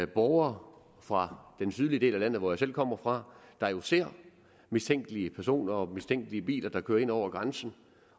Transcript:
borgere fra den sydlige del af landet hvor jeg selv kommer fra der jo ser mistænkelige personer og mistænkelige biler der kører ind over grænsen